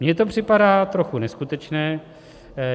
Mně to připadá trochu neskutečné.